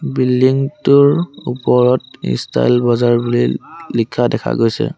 Building টোৰ ওপৰত style বজাৰ বুলি লিখা দেখা গৈছে।